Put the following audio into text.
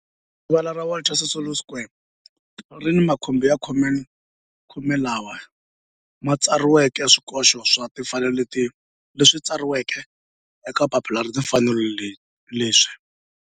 Rivala ra Walter Sisulu Square ri ni makhumbi ya khume lawa ma tsariweke swikoxo swa timfanelo leswi tsariweke eka papila ra timfanelo leswi